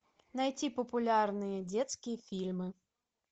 найти популярные детские фильмы